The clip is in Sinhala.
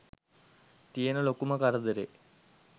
තියන ලොකුම කරදරේ.